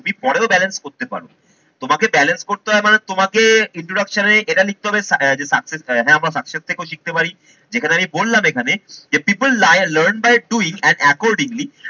তুমি পরেও balance করতে পারো। তোমাকে balance করতে হয় মানে তোমাকে introduction এ এটা লিখতে হবে যে success হ্যা আমার success থেকেও শিখতে পারি যেখানে আমি বললাম এখানে যে people lion learn by doing and accordingly